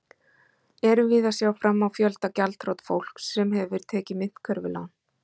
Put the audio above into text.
Erum við að sjá fram á fjölda gjaldþrot fólks sem hefur tekið myntkörfulán?